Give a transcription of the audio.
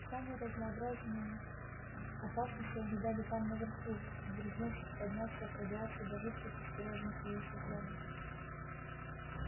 самые разнообразные опасности ожидали там наверху дерзнувших подняться от радиации до жутких искорёженных ею созданий